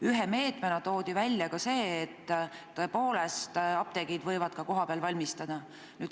Ühe meetmena toodi välja võimalus, et apteegid võivad ravimeid ka kohapeal valmistada.